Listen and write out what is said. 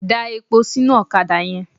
Da epo sínú ọ̀kadà yẹn.